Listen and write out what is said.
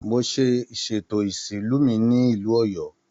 Mo ṣe ìsètò isinru ìlú mí nílu Oyo.